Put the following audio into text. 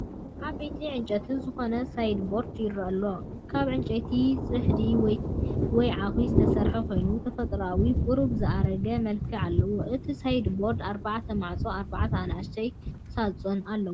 ዓብይ ዕንጨይቲ ዝኾነ ሳይድቦርድ ይረአ ኣሎ። ካብ ዕንጨይቲ ጽሕዲ ወይ ዓኹ ዝተሰርሐ ኮይኑ፡ ተፈጥሮኣዊ፡ ቁሩብ ዝኣረገ መልክዕ ኣለዎ። እቲ ሳይድቦርድ ኣርባዕተ ማዕጾን ኣርባዕተ ንኣሽቱ ሳጹናትን ኣለዎ።